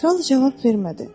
Kral cavab vermədi.